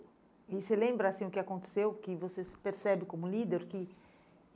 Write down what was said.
E você lembra, assim, o que aconteceu, que você se percebe como líder? O que